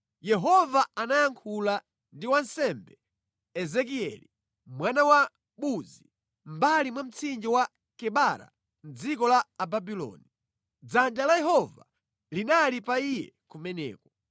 Yehova anayankhula ndi wansembe Ezekieli, mwana wa Buzi, mʼmbali mwa mtsinje wa Kebara mʼdziko la Ababuloni. Dzanja la Yehova linali pa iye kumeneko.